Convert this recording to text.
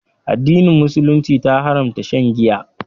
Addinin musulunci ta haramta shan Giya.